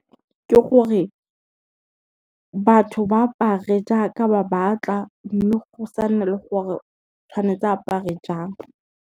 Ke gore, batho ba apare jaaka ba batla mme go sa nne le gore tshwanetse apare jang.